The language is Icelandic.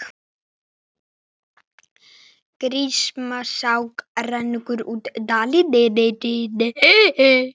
Grímsá rennur um dalinn.